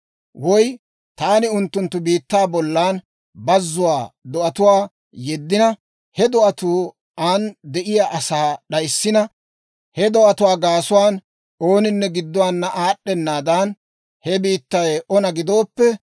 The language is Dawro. «Woy taani unttunttu biittaa bollan bazzuwaa do'atuwaa yeddina, he do'atuu an de'iyaa asaa d'ayssina, he do'atuwaa gaasuwaan ooninne gidduwaana aad'd'enaadan, he biittay ona gidooppe,